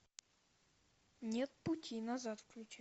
нет пути назад включи